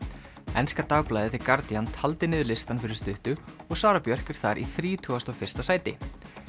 enska dagblaðið Guardian taldi niður listann fyrir stuttu og Sara Björk er þar í þrítugasta og fyrsta sæti